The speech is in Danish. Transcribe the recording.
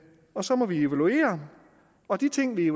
og så må vi evaluere og de ting vi